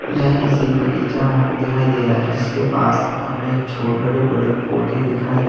यह किसी बगीचा दिखाई दे रहा है जिसके पास हमें छो बड़े बड़े पौधे दिखाई दे--